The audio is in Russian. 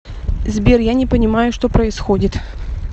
сбер я не понимаю что происходит